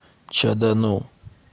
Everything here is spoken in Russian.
чадану